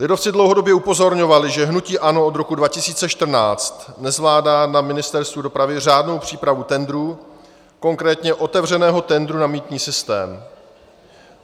Lidovci dlouhodobě upozorňovali, že hnutí ANO od roku 2014 nezvládá na Ministerstvu dopravy řádnou přípravu tendrů, konkrétně otevřeného tendru na mýtný systém.